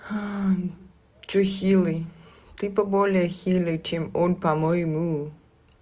что хилый ты по более хилый чем он по-моему